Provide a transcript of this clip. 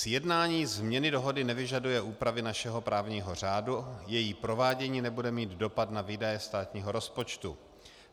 Sjednání změny dohody nevyžaduje úpravy našeho právního řádu, její provádění nebude mít dopad na výdaje státního rozpočtu.